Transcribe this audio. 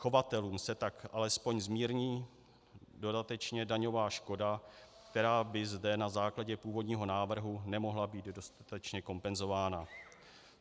Chovatelům se tak alespoň zmírní dodatečně daňová škoda, která by zde na základě původního návrhu nemohla být dostatečně kompenzována.